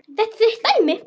Þetta er þitt dæmi.